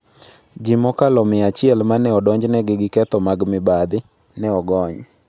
Ji mokalo 100 ma ne odonjnegi gi ketho mag mibadhi, ne ogony